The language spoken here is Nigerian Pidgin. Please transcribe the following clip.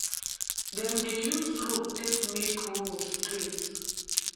dem dey use rope take make row straight